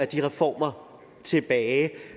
de reformer tilbage